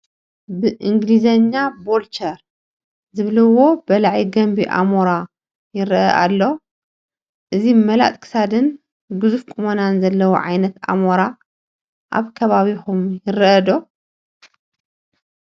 ብእንግሊዝኛ ቮልቸር ዝብልዎ በላዒ ገንቢ ኣሞራ ይርአ ኣሎ፡፡ እዚ መላጥ ክሳድን ግዙፍ ቁመናን ዘለዎ ዓይነት ኣሞራ ኣብ ከባቢኹም ይርአ ዶ?